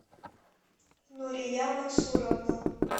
нурия мансуровна